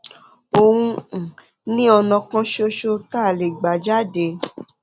òun um ni ọnà kan ṣoṣo tá a lè gbà jáde